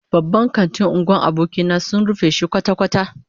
Babban kantin unguwar abokina sun rufe shi kwata-kwata